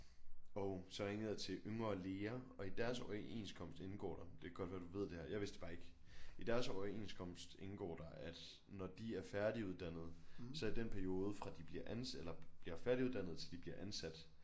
Og så ringede jeg til Yngre Læger og i deres overenskomst indgår der det kan godt være du ved det her jeg vidste det bare ikke i deres overenskomst indgår der at når de er færdiguddannede så i den periode fra de bliver ansat eller bliver færdiguddannede til de bliver ansat